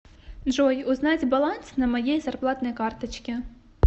джой узнать баланс на моей зарплатной карточке